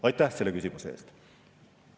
Aitäh selle küsimuse eest!